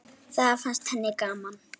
Það fannst henni gaman.